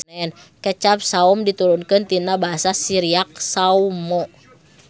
Kecap saom diturunkeun tina Basa Siriak sawmo.